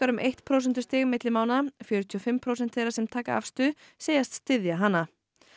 um eitt prósentustig milli mánaða fjörutíu og fimm prósent þeirra sem taka afstöðu segjast styðja hana